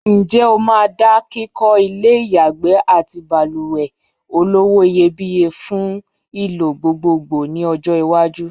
Ǹjẹ́ o má da kíkọ́ ilé ìyàgbẹ́ àti balùwẹ̀ olówó-iyebiye fún ìlò gbogbogbò ní ọọ́-iwájú?